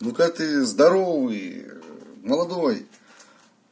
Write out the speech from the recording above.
ну как ты здоровый молодой